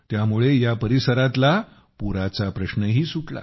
त्यामुळे या परिसरातला पुराचा प्रश्नही सुटला